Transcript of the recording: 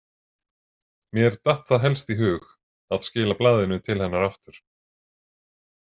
Mér datt það helst í hug að skila blaðinu til hennar aftur.